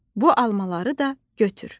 Bu almaları da götür.